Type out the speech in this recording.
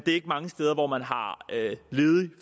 ikke mange steder hvor man har ledig